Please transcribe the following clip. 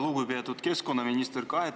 Lugupeetud keskkonnaminister!